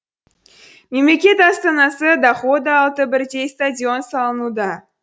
мемлекет астанасы дохада алты бірдей стадион салынуда